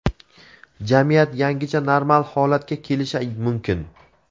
jamiyat yangicha normal holatga kelishi mumkin.